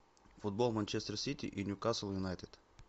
футбол манчестер сити и ньюкасл юнайтед